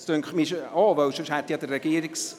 Ich meine schon, sonst hätte der Regierungs…